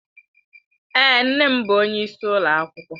Èé, nne m bụ onyeisi ụlọ akwụkwọ.